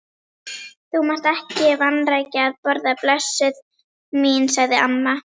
Þú mátt ekki vanrækja að borða, blessuð mín, sagði amma.